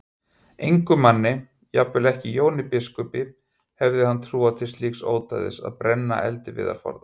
Engum manni, jafnvel ekki Jóni biskupi, hefði hann trúað til slíks ódæðis að brenna eldiviðarforða.